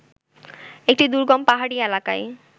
এক দুর্গম পাহাড়ি এলাকায়